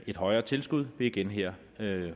et højere tilskud vil igen her